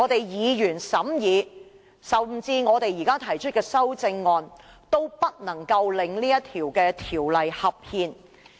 議員審議《條例草案》，或稍後提出的修正案，都不能夠令《條例草案》合憲。